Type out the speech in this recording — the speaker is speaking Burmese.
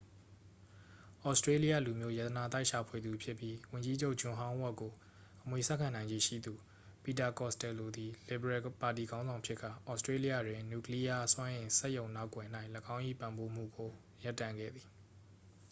သြစတြေးလျလူမျိုး ရတနာသိုက်ရှာဖွေသူဖြစ်ပြီး ဝန်ကြီးချုပ် ဂျွန်ဟောင်းဝက်ကို အမွေဆက်ခံနိုင်ခြေရှိသူ ပီတာ ကော့စတယ်လိုသည် လစ်ဗရယ်ပါတီခေါင်းဆောင်ဖြစ်ကာ သြစတြေးလျတွင် နျူကလီးယား စွမ်းအင် စက်ရုံနောက်ကွယ်၌ ၎င်း၏ ပံ့ပိုးမှုကို ရပ်တန့်ခဲ့သည်